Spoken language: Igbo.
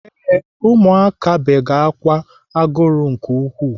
Ee, ụmụaka bege ákwà agụrụ nke ukwuu.